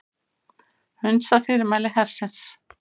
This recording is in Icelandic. Hunsa fyrirmæli hersins